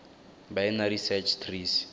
binary search trees